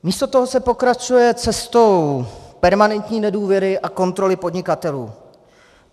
Místo toho se pokračuje cestou permanentní nedůvěry a kontroly podnikatelů.